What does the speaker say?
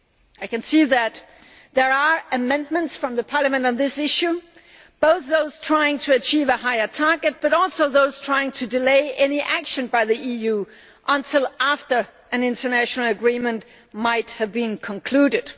I can see that there are amendments from Parliament on this issue, both those that seek to achieve a higher target and those that are trying to delay any action by the EU until after an international agreement may have been concluded.